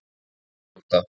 Þeir hrjóta.